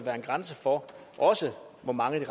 er en grænse for hvor mange vi